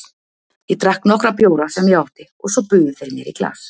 Ég drakk nokkra bjóra sem ég átti og svo buðu þeir mér í glas.